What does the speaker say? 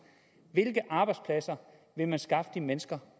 hvilke arbejdspladser vil man skaffe de mennesker